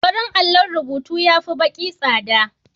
Farin allon rubutu ya fi baƙi tsada.